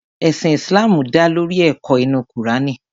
Ẹ̀sìn Islam dá lórí ẹ̀kọ́ inú Kùránì.